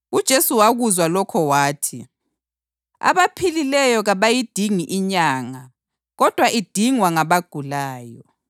UJesu wakuzwa lokho wathi, “Abaphilileyo kabayidingi inyanga kodwa idingwa ngabagulayo.